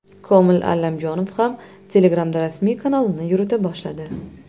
Komil Allamjonov ham Telegram’da rasmiy kanalini yurita boshladi.